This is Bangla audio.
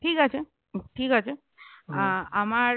ঠিক আছে ঠিক আছে আহ আমার